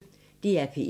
DR P1